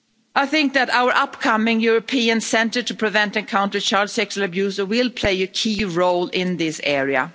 I think that our upcoming European centre to prevent and counter child sexual abuse will play a key role in this area.